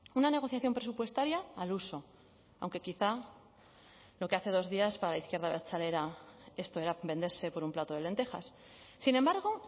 una negociación presupuestaria al uso aunque quizá lo que hace dos días para la izquierda abertzale era esto era venderse por un plato de lentejas sin embargo